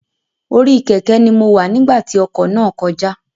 Orí Kẹ̀kẹ́ ni mo wá nígbà tí ọkọ̀ náà kọjá